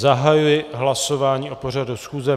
Zahajuji hlasování o pořadu schůze.